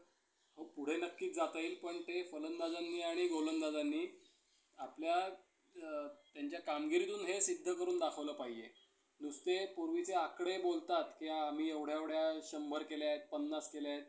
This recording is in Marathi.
झाडू टोपली घडले कचरा नाहीसा करणारे गुरुजी निसर्गात खूप रमत असत. साऱ्या कलावं~ अं कलांविषयी गुरुजींना ओढ होती.